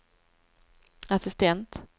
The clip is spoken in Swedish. assistent